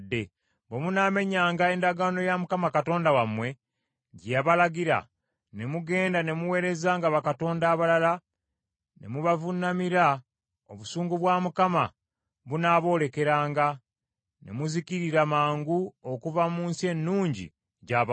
Bwe munaamenyanga endagaano ya Mukama Katonda wammwe gye yabalagira, ne mugenda ne muweerezanga bakatonda abalala ne mubavuunamiranga, obusungu bwa Mukama bunaaboolekeranga, ne muzikirira mangu okuva mu nsi ennungi gy’abawadde.”